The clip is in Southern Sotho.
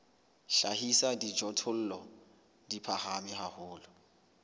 hlahisa dijothollo di phahame haholo